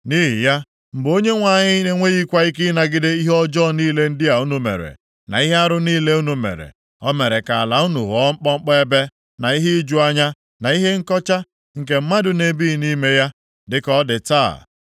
Nʼihi ya, mgbe Onyenwe anyị na-enweghịkwa ike ịnagide ihe ọjọọ niile ndị a unu mere, na ihe arụ niile unu mere, o mere ka ala unu ghọọ mkpọmkpọ ebe, na ihe iju anya, na ihe nkọcha, nke mmadụ na-ebighị nʼime ya, dịka ọ dị taa.